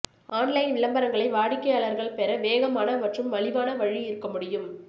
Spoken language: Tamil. ஆன்லைன் விளம்பரங்களை வாடிக்கையாளர்கள் பெற வேகமான மற்றும் மலிவான வழி இருக்க முடியும்